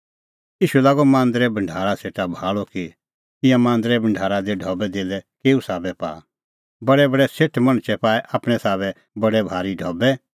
ईशू लागअ मांदरे भढारा सेटा भाल़अ कि ईंयां मांदरै भढारा दी ढबैधेल्लै केऊ साबै पाआ बडैबडै सेठ मणछै पाऐ आपणैं साबै बडै भारी ढबै